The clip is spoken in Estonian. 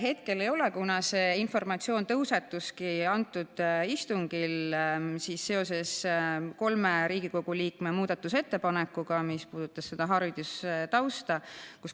Hetkel ei ole, kuna see informatsioon tõusetuski sellel istungil seoses kolme Riigikogu liikme muudatusettepanekuga, mis puudutas seda haridustausta.